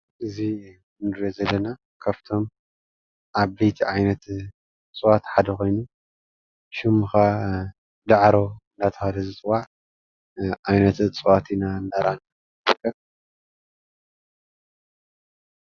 እዚ እንሪኦ ዘለና ካፍቶም ዓበይቲ ዓይነት እፅዋት ሓደ ኮይኑ ሽሙ ክዓ ዳዕሮ እንዳተብሃለ ዝፅዋዕ ዓየነት እፅዋት ኢና እንዳራኣና ንርከብ።